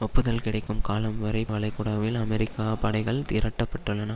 ஒப்புதல் கிடைக்கும் காலம் வரை வளைகுடாவில் அமெரிக்காப் படைகள் திரட்டப்படலாம்